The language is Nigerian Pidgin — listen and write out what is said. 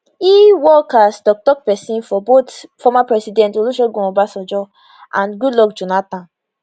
e work as toktok pesin for both former presidents olusegun obasanjo and goodluck jonathan